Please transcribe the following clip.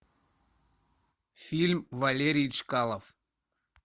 фильм валерий чкалов